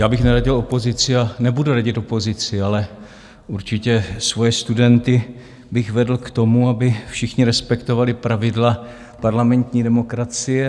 Já bych neradil opozici a nebudu radit opozici, ale určitě svoje studenty bych vedl k tomu, aby všichni respektovali pravidla parlamentní demokracie.